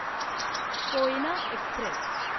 Koyna Express